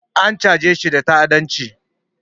An chajeshi da ta'adanci